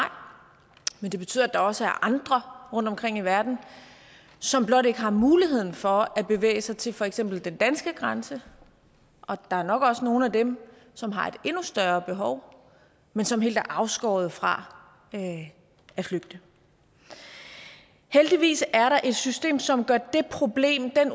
men det betyder at der også er andre rundtomkring i verden som blot ikke har muligheden for at bevæge sig til for eksempel den danske grænse og der er nok også nogle af dem som har et endnu større behov men som helt er afskåret fra at flygte heldigvis er der et system som gør det problem